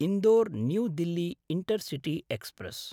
Indore New Delhi intercity express